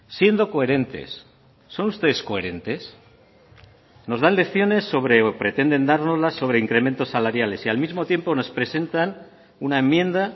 siendo coherentes son ustedes coherentes nos dan lecciones sobre o pretenden dárnoslas sobre incrementos salariales y al mismo tiempo nos presentan una enmienda